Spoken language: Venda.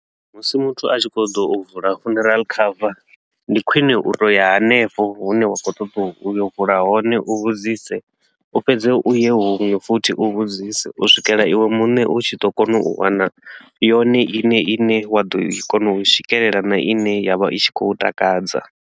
Musi muthu a tshi khou ḓo vula funeral cover, ndi khwine u to u ya hanefho hune wa khou ṱoḓa u yo vula hone u vhudzise. U fhedze u ye huṅwe futhi u vhudzise u swikela iwe muṋe u tshi ḓo kona u wana yone iṋe i ne wa ḓo kona u i swikelela na i ne ya vha i tshi khou u takadza.